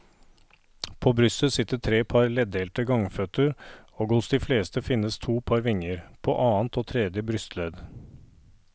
På brystet sitter tre par leddelte gangføtter og hos de fleste finnes to par vinger, på annet og tredje brystledd.